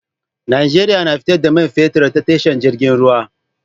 Nigeria na fita da fetir ta tasha jirgin ruwa